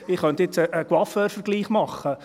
Ich könnte jetzt einen Coiffeur-Vergleich machen.